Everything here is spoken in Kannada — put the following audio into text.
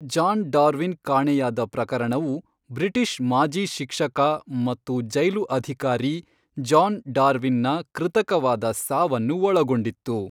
ಜಾನ್ ಡಾರ್ವಿನ್ ಕಾಣೆಯಾದ ಪ್ರಕರಣವು ಬ್ರಿಟಿಷ್ ಮಾಜಿ ಶಿಕ್ಷಕ ಮತ್ತು ಜೈಲು ಅಧಿಕಾರಿ ಜಾನ್ ಡಾರ್ವಿನ್ನ ಕೃತಕವಾದ ಸಾವನ್ನು ಒಳಗೊಂಡಿತ್ತು.